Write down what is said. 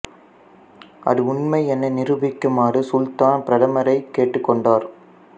அது உண்மை என நிரூபிக்குமாறு சுல்தான் பிரதமரைக் கேட்டுக் கொண்டார்